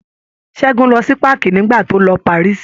Ṣẹ́gun lọ sí páàkì nígbà tó lọ Paris.